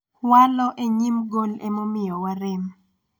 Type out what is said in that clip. walo e nyim gol emomiyo warem